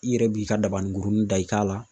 I yɛrɛ b'i ka dabanin kurunin da i kan la